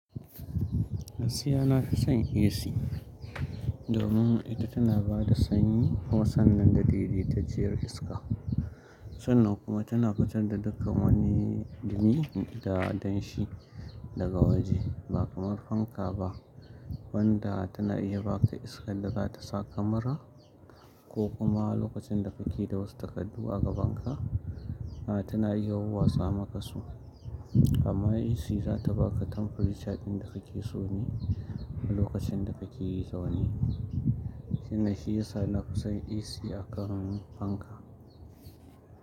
Gaskiya na fi son AC, domin ita tana ba da sanyi, kuma sannan da dede ta cciyar iska. Sannan kuma tana fitar da dukkan wani dumi da danshi. Daga waje, ba kamar fanka ba wanda tana iya baka iskan da za ta sa ka mura ko kuma lokacin da kake da wasu takaddu a gaban ka, a tana iya wauwatsa maka su. Amma AC za ta baka temperature ɗin da kake so ne. A lokacin da kake zaune. Wannan shi yasa na fi son AC a kan fanka.